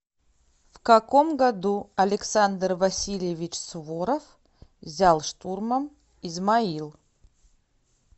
в каком году александр васильевич суворов взял штурмом измаил